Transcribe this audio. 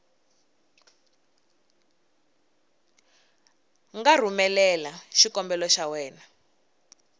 nga rhumelela xikombelo xa wena